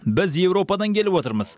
біз еуропадан келіп отырмыз